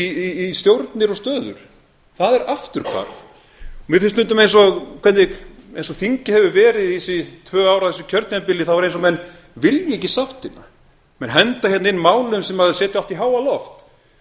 í stjórnir og stöður það er afturhvarf mér finnst stundum eins og hvernig eins og þingið hefur verið þessi tvö ár af þessu kjörtímabili þá er eins og menn vilji ekki sáttina menn henda hérna inn málum sem setja allt í háaloft við verðum